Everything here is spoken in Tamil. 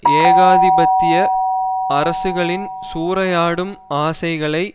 ஏகாதிபத்திய அரசுகளின் சூறையாடும் ஆசைகளை